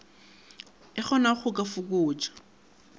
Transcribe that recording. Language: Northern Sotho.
e kgonago go ka fokotša